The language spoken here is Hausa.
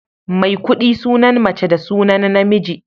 Maikuɗi sunan mace da sunan namiji.